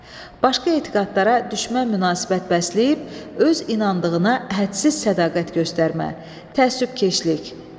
Başqa etiqadlara düşmən münasibət bəsləyib öz inandığına hədsiz sədaqət göstərmə, təəssübkeşlik.